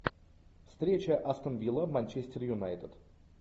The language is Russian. встреча астон вилла манчестер юнайтед